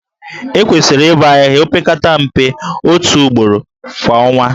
Ekwesịrị ịbọ ahịhịa opekata mpe otu ugboro kwa ọnwa